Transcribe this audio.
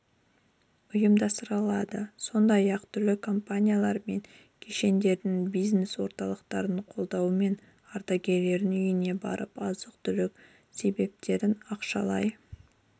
ұйымдастырылады сондай-ақ түрлі компаниялар мен кешендерінің бизнес орталықтардың қолдауымен ардагерлерінің үйлеріне барып азық-түлік себеттерін ақшалай